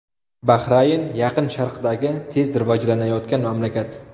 Bahrayn Yaqin Sharqdagi tez rivojlanayotgan mamlakat.